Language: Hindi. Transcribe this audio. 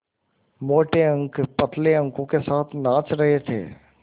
मोटे अंक पतले अंकों के साथ नाच रहे थे